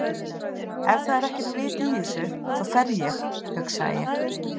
Ef það er ekkert vit í þessu þá fer ég, hugsaði ég.